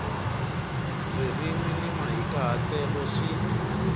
ririmi ni mahikahatelo swi